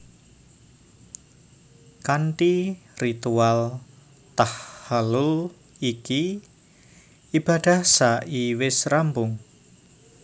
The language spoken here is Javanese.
Kanthi ritual tahhalul iki ibadah sa i wis rampung